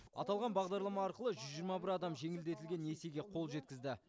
аталған бағдарлама арқылы жүз жиырма бір адам жеңілдетілген несиеге қол жеткізді